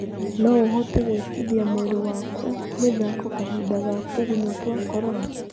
No ũhote gwĩkithia mwĩrĩ waku mĩthako kahinda ga tũgunyũtwa Korona?